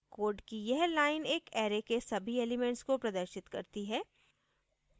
code की यह line एक array के सभी elements को प्रदर्शित करती है